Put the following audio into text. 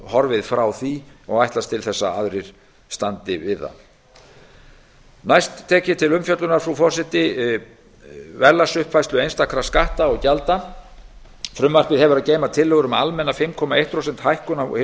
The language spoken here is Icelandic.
horfið frá því og ætlast til þess að aðrir standi við það næst tek ég til umfjöllunar verðlagsuppfærslu einstakra skatta og gjalda frumvarpið hefur að geyma tillögur um almenna fimm komma eitt prósent hækkun á hinum